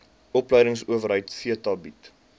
opleidingsowerheid theta bied